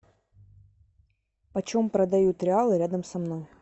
почем продают реалы рядом со мной